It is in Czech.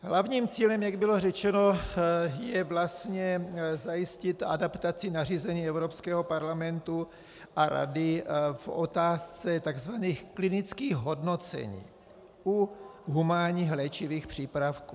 Hlavním cílem, jak bylo řečeno, je vlastně zajistit adaptaci nařízení Evropského parlamentu a Rady v otázce tzv. klinických hodnocení u humánních léčivých přípravků.